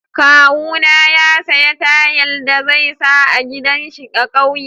Kawuna ya saya tayal da za sa a gidan shi a'kauye.